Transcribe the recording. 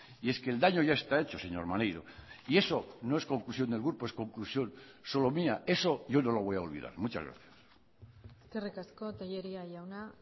y es que el daño ya está hecho señor maneiro y eso no es conclusión del grupo es conclusión solo mía eso yo no lo voy a olvidar muchas gracias eskerrik asko tellería jauna